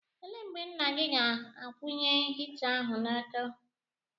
Ele mgbe nna gị ga-akwụnye hita ahụ n'ọkụ?